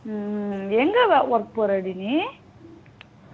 ஹம் எங்க work போற டி நீ